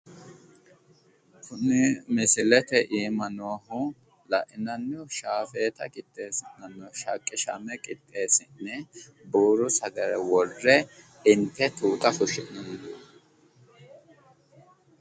kuni misilete iima noohu la"inanni shafeeta qixeessinanni shaqqame qixeessine buuro worre inte tuuta fushshinanniho